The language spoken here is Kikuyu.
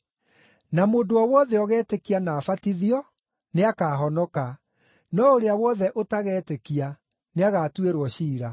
Na mũndũ o wothe ũgetĩkia na abatithio nĩakahonoka, no ũrĩa wothe ũtagetĩkia nĩagatuĩrwo ciira.